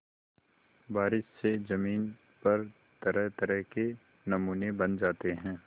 बारिश से ज़मीन पर तरहतरह के नमूने बन जाते हैं